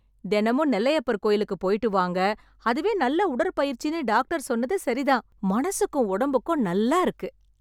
தினமும் நெல்லையப்பர் கோயிலுக்கு போய்ட்டு வாங்க. அதுவே நல்ல உடற்பயிற்சின்னு டாக்டர் சொன்னது சரி தான். மனசுக்கும் உடம்புக்கும் நல்லா இருக்கு.